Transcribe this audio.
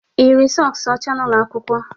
Ị yiri sọks ọcha n'ụlọ akwụkwọ?